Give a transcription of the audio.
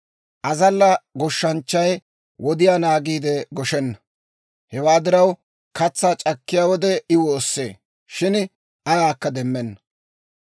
Azalla goshshanchchay wodiyaa naagiide goshenna; hewaa diraw, katsaa c'akkiyaa wode I woossee; shin ayaakka demmenna.